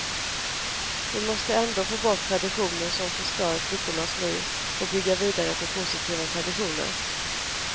Vi måste ändå få bort traditioner som förstör flickornas liv och bygga vidare på positiva traditioner.